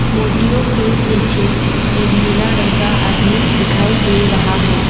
मूर्तियों के पीछे एक नीला रंग का आदमी दिखाई दे रहा है।